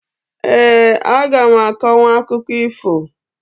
Eeǃ A gam akọnwụ akụkọ ifo.